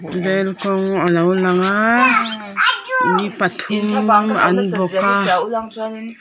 rel kawng alo lang a ui pathum an bawk a.